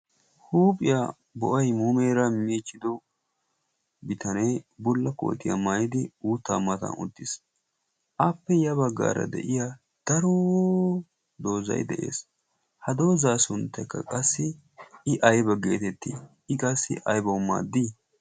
huuphiyaa bo'ay muumeera miichchido bitanee bulla kootiyaa maayidi uuttaa matan uttiis. appe ya baggaara de'iya daro doozay de'ees. ha doozaa sunttekka qassi i ayba geetettii i qassi aybawu maaddii